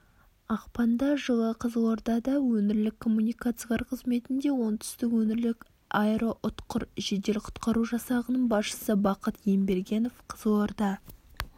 ақпанда жылы қызылордада өңірлік коммуникациялар қызметінде оңтүстік өңірлік аэроұтқыр жедел құтқару жасағының басшысы бақыт ембергенов қызылорда